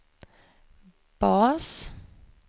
bas